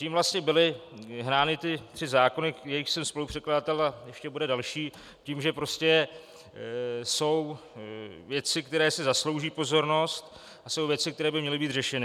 Tím vlastně byly hnány ty tři zákony, jejichž jsem spolupředkladatel, a ještě bude další, tím, že prostě jsou věci, které si zaslouží pozornost, a jsou věci, které by měly být řešeny.